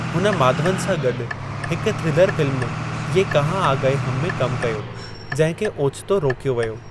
हुन माधवन सां गॾु हिकु थ्रिलर फ़िल्म ये कहां आ गए हम में कमु कयो जंहिं खे ओचितो रोकियो व्यो।